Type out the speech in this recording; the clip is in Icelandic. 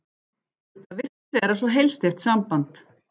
Það virtist vera svo heilsteypt samband.